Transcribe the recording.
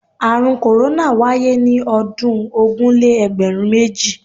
Àrùn korona wáyé ní ọdún ogún-lé-egberun-méjì.